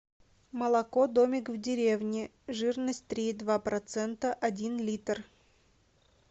молоко домик в деревне жирность три и два процента один литр